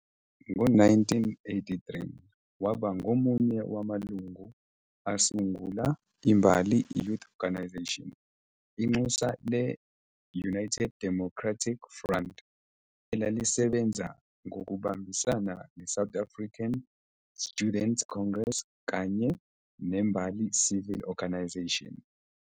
Ngo-1983 waba ngomunye wamalungu asungula iMbali Youth Organisation, inxusa le- United Democratic Front, elalisebenza ngokubambisana neSouth African Students Congress kanye neMbali Civic Organisation.